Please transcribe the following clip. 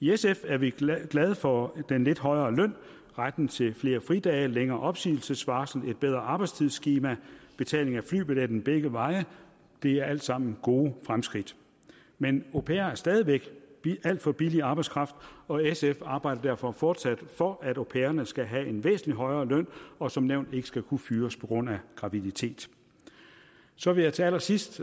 i sf er vi glade for den lidt højere løn retten til flere fridage længere opsigelsesvarsel et bedre arbejdstidsskema betaling af flybilletten begge veje det er alt sammen gode fremskridt men au pairer er stadig væk en alt for billig arbejdskraft og sf arbejder derfor fortsat for at au pairerne skal have en væsentlig højere løn og som nævnt ikke skal kunne fyres på grund af graviditet så vil jeg til allersidst